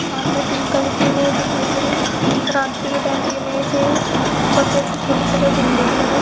सामने pink colour की image दिखाई दे रही है। रात्रि के टाइम की इमेज है ये। उपर पे से छोटे-छोटे झंडे भी लगे --